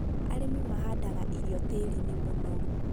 arĩmi mahandaga irio tĩĩri-inĩ mũnoru